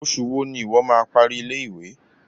Oṣù wo ni ìwo má a parí ilé-ìwé?